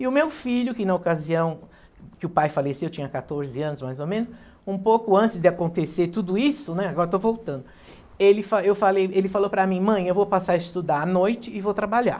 E o meu filho, que na ocasião que o pai faleceu, tinha quatorze anos mais ou menos, um pouco antes de acontecer tudo isso, né, agora estou voltando, ele fa eu falei, ele falou para mim, mãe, eu vou passar a estudar à noite e vou trabalhar.